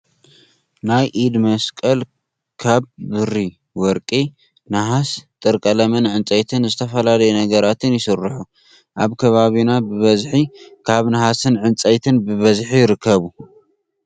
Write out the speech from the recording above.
ናይ ኢድ መሳቅል ካብ ብሪ፣ ወርቂ፣ ነሃስ፣ ጥር ቀለምን ዕንፀይትን ዝተፈላለዩ ነገራትን ይስርሑ። ኣብ ከባቢና ብበዝሒ ካብ ነሃስን ዕንፀይትን ብበዝሒ ይርከቡ።